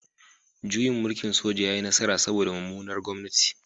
Juyin mulkin soja ya yi nasara saboda mummunar gwamnati